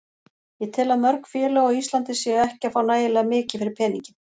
Ég tel að mörg félög á Íslandi séu ekki að fá nægilega mikið fyrir peninginn.